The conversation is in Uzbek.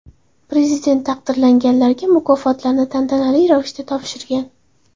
Prezident taqdirlanganlarga mukofotlarni tantanali ravishda topshirgan.